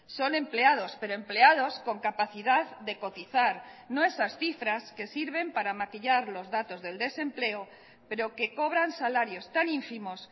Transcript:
son empleados pero empleados con capacidad de cotizar no esas cifras que sirven para maquillar los datos del desempleo pero que cobran salarios tan ínfimos